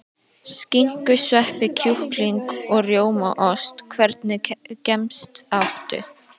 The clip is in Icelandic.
Skinku sveppi kjúkling og rjómaost Hvernig gemsa áttu?